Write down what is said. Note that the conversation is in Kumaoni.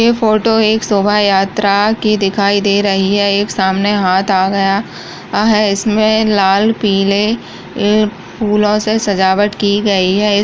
यह फोटो एक शोभा यात्रा की दिखाई दे रही है एक सामने हाथ आ गया है इसमे लाल पीले फूलो से सजावट की गयी है।